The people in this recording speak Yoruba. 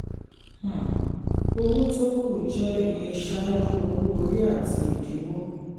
um owó tó kù jẹ́ iye ṣáájú owó orí àti ìdíwọ́.